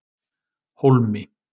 Hólmi